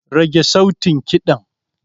Karage sautin ƙidan.